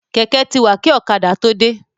Kẹ̀kẹ́ ti wà kí ọ̀kadà tó dé.